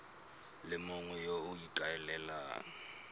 le mongwe yo o ikaelelang